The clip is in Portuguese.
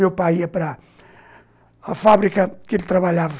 Meu pai ia para a fábrica que ele trabalhava.